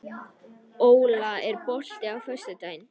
Óla, er bolti á föstudaginn?